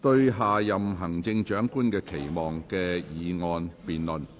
"對下任行政長官的期望"的議案辯論。